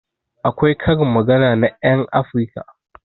Akwai karin magana na ƴan afirka